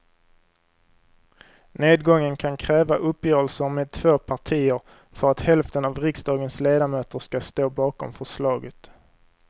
Nedgången kan kräva uppgörelser med två partier för att hälften av riksdagens ledamöter ska stå bakom förslaget.